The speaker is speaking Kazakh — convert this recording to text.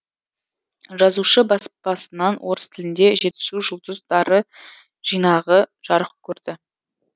жазушы баспасынан орыс тілінде жетісу жұлдыздары жинағы жарық көрді